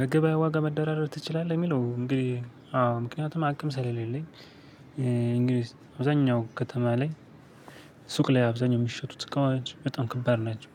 መገበያያ ዋጋ መደራደር ትችላለህ ለሚለው እንግዲ አዎ ምክንያቱም አቅም ስለሌለኝ እንግዲ አብዛኛው ከተማ ላይ ሱቅ ላይ አብዛኛው የሚሸጡ እቃዎች በጣም ከባድ ናቸው።